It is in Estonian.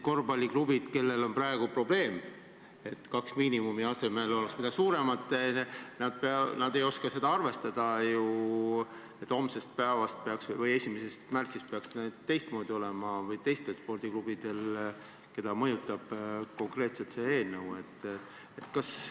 Korvpalliklubid, kellel on praegu probleem, et kahe miinimumi asemel oleks suurem, ei oska ju arvestada, et homsest päevast või 1. märtsist peaks teistmoodi olema, või teised spordiklubid, keda see eelnõu konkreetselt mõjutab.